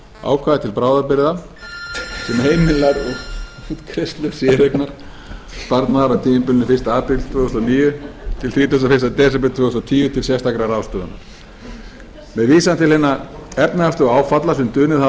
ákvæði til bráðabirgða sem heimilar útgreiðslu séreignarsparnaðar á tímabilinu fyrsta apríl tvö þúsund og níu til þrítugasta og fyrsta desember tvö þúsund og tíu til sérstakrar ráðstöfunar með vísan til hinna efnahagslegu áfalla sem dunið hafa